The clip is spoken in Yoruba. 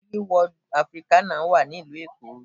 Dreamworld Africana wà ní ìlú Èkó